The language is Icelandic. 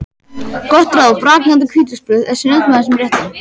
Gott ráð: Brakandi hvítlauksbrauð er snilld með þessum rétti.